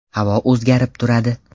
Havo o‘zgarib turadi.